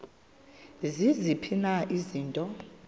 ziziphi na izinto